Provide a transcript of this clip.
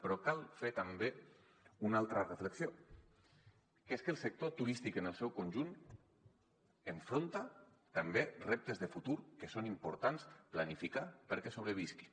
però cal fer també una altra reflexió que és que el sector turístic en el seu conjunt afronta també reptes de futur que són importants planificar perquè sobrevisqui